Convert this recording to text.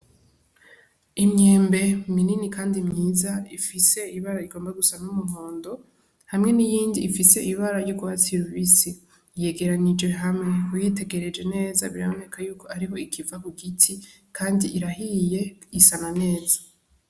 Imyembe minini kandi myiza, ifise ibara rigomba gusa n'umuhondo hamwe n'iyindi ifise ibara ry'urwatsi rubisi. Yegeranije hamwe, uyitegereje neza biraboneka y'uko ariho ikiva ku giti, kandi irahiye isa na neza.